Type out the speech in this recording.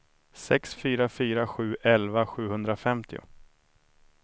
sex fyra fyra sju elva sjuhundrafemtio